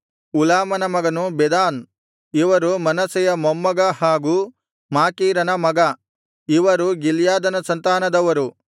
ಉಲಾಮನ ಮಗನು ಬೆದಾನ್ ಇವರು ಮನಸ್ಸೆಯ ಮೊಮ್ಮಗ ಹಾಗೂ ಮಾಕೀರನ ಮಗ ಇವರು ಗಿಲ್ಯಾದನ ಸಂತಾನದವರು